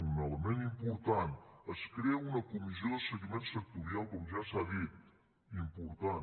un element important es crea una comissió de seguiment sectorial com ja s’ha dit important